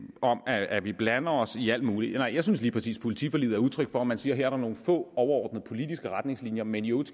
om at vi blander os i alt muligt nej jeg synes lige præcis politiforliget er udtryk for at man siger at her er der nogle få overordnede politiske retningslinjer men i øvrigt